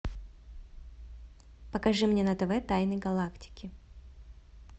покажи мне на тв тайны галактики